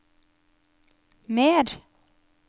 mer